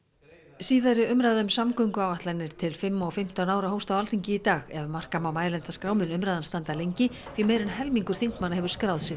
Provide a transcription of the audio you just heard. síðari umræða um samgönguáætlanir til fimm og fimmtán ára hófst á Alþingi í dag ef marka má mælendaskrá mun umræðan standa lengi því meira en helmingur þingmanna hefur skráð sig